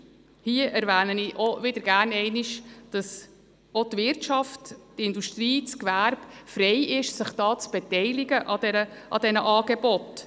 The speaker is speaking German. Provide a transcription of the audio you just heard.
Hier erwähne ich auch gerne wieder einmal, dass es auch der Wirtschaft, dem Gewerbe und der Industrie freisteht, sich an diesen Angeboten zu beteiligen.